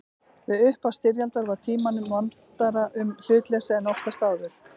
Við upphaf styrjaldar var Tímanum vandara um hlutleysið en oftast áður.